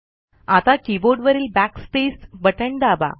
आता कीबोर्डवरील Backspace बटण दाबा